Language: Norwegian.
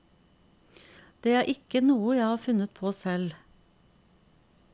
Det er ikke noe jeg har funnet på selv.